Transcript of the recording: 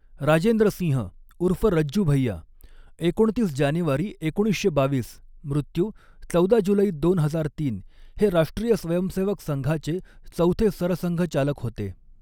राजेंद्रसिंह ऊर्फ रज्जू भैय्या एकोणतीस जानेवारी एकोणीसशे बावीस, मृत्यु चौदा जुलै दोन हजार तीन हे राष्ट्रीय स्वयंसेवक संघाचे चौथे सरसंघचालक हो्ते.